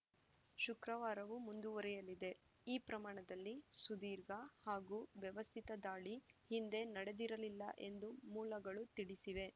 ಶುಕ್ರವಾರವೂ ಮುಂದುವರೆಯಲಿದೆ ಈ ಪ್ರಮಾಣದಲ್ಲಿ ಸುದೀರ್ಘ ಹಾಗೂ ವ್ಯವಸ್ಥಿತ ದಾಳಿ ಹಿಂದೆ ನಡೆದಿರಲಿಲ್ಲ ಎಂದು ಮೂಲಗಳು ತಿಳಿಸಿವೆ